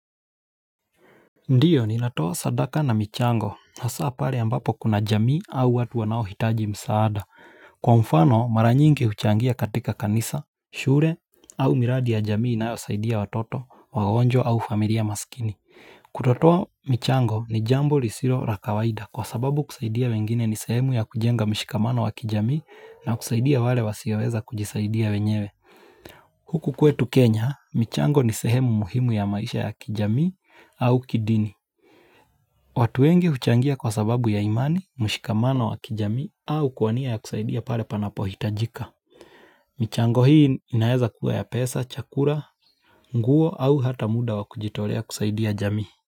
Ndiyo ninatoa sadaka na michango hasa pale ambapo kuna jamii au watu wanao hitaji msaada. Kwa mfano maranyingi huchangia katika kanisa, shure au miradi ya jamii inayo saidia watoto, wagwonjwa au familia maskini. Kutotoa michango ni jambo lisiro rakawaida kwa sababu kusaidia wengine ni sehemu ya kujenga mishikamano wa kijamii na kusaidia wale wasiweza kujisaidia wenyewe. Huku kwetu Kenya, michango ni sehemu muhimu ya maisha ya kijamii au kidini. Watu wengi huchangia kwa sababu ya imani, mshikamano wa kijamii au kuwania ya kusaidia pale panapo hitajika. Michango hii inayeza kuwa ya pesa, chakura, nguo au hata muda wa kujitorea kusaidia jamii.